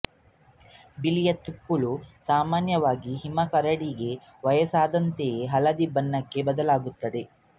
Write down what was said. ಬಿಳಿಯ ತುಪ್ಪುಳು ಸಾಮಾನ್ಯವಾಗಿ ಹಿಮಕರಡಿಗೆ ವಯಸ್ಸಾದಂತೆ ಹಳದಿ ಬಣ್ಣಕ್ಕೆ ಬದಲಾಗುತ್ತದೆ